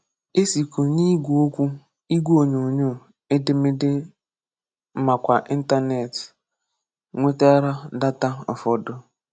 E sịkwù n’ígwè òkwú, ígwè onyóonyó, édémédé, nakwá Íntánẹ́ètì, nwetàrà dátà ụ̀fọ̀dụ.